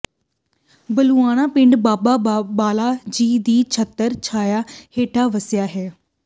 ਬੱਲੂਆਣਾ ਪਿੰਡ ਬਾਬਾ ਬਾਲਾ ਜੀ ਦੀ ਛਤਰ ਛਾਿੲਅ ਹੇਠਾਂ ਵਸਿਆ ਹੈ